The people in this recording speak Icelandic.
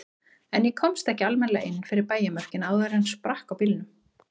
En ég komst ekki almennilega inn fyrir bæjarmörkin áður en sprakk á bílnum.